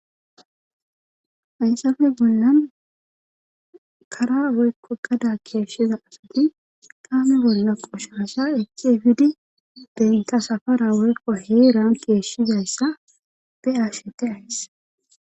Hayssafe bollan kara woykko gada keeshiza asati tame bolla qoshasha eiefidi denta safara worqo heeran keeshshizayssa beashete ays..